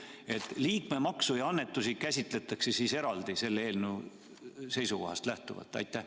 Nii et liikmemaksu ja annetusi käsitletakse siis selle eelnõu kohaselt erinevalt?